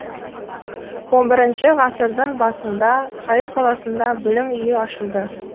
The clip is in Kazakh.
он бірінші ғасырдың басында каир қаласында білім үйі ашылды